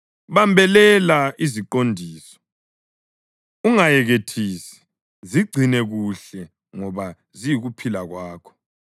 Bambelela iziqondiso, ungayekethisi; zigcine kuhle ngoba ziyikuphila kwakho.